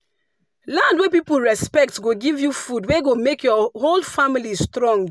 land wey people respect go give you food wey go make your whole family strong.